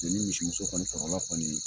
ni misimuso kɔni kɔrɔla kɔni